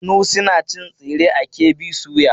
Sunusi na cin tsire a KB soya.